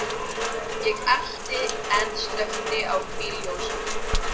Ég elti en slökkti á bílljósunum.